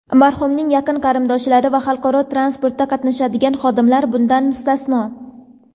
marhumning yaqin qarindoshlari va xalqaro transportda qatnashadigan xodimlar bundan mustasno.